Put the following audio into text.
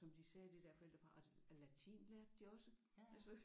Og som de sagde det der forældrepar og latin lærte de også altså